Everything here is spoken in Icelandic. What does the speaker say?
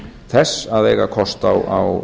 þess að eiga kost á